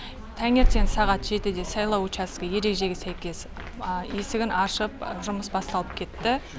тәңертең сағат жетіде сайлау учаскі ережеге сәйкес есігін ашып жұмыс басталып кетті